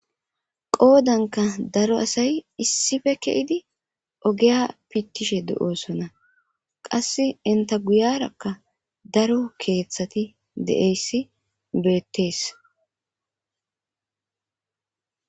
qoodanka daro asay issife ke7idi ogeya pittishe de7oosona qass enta guyarakka daro keeththati de7eyssi beettees